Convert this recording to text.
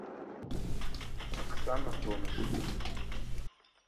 оксана тонышева